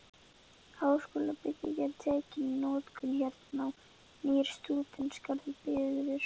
Háskólabyggingin tekin í notkun- Hernám- Nýr stúdentagarður byggður